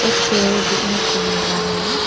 एक पैर देखने को मिला है।